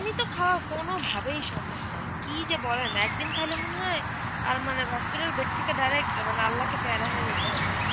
পানি তো খাওয়া কোনভাবেই সম্ভব না, কি যে বলেন একদিন খাইলে মনে হয় আর মানে hospital bed থেকে direct মানে আল্লাকে প্যায়রা হয়ে যেতে হবে.